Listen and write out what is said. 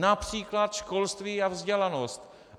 Například školství a vzdělanost.